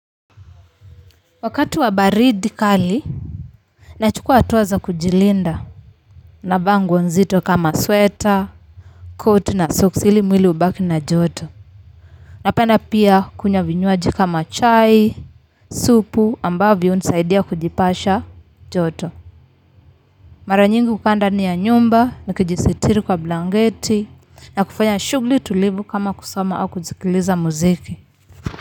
Wakati wa baridi kali, nachukua hatua za kujilinda. Navaa nguo nzito kama sweta, koti na soksi ili mwili ubaki na joto. Napenda pia kunywa vinywaji kama chai, supu ambavyo hunisaidia kujipasha joto. Mara nyingi hukaa ndani ya nyumba, nikijisitiri kwa blanketi, na kufanya shughuli tulivu kama kusoma au kusikiliza muziki.